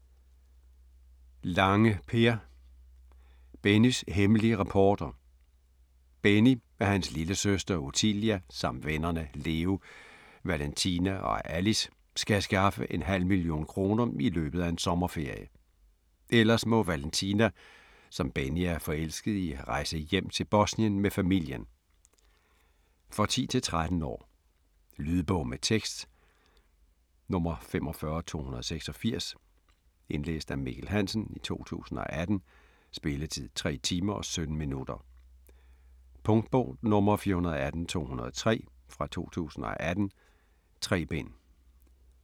Lange, Per: Bennys hemmelige rapporter Benny, hans lillesøster Otillia samt vennerne Leo, Valentina og Alice skal skaffe en halv million kroner i løbet af en sommerferie. Ellers må Valentina, som Benny er forelsket i rejse hjem til Bosnien med familien. For 10-13 år. Lydbog med tekst 45286 Indlæst af Mikkel Hansen, 2018. Spilletid: 3 timer, 17 minutter. Punktbog 418203 2018. 3 bind.